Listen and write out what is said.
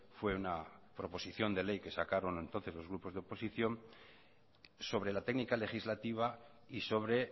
fue una proposición de ley que sacaron entonces los grupos de oposición sobre la técnica legislativa y sobre